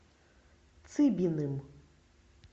цыбиным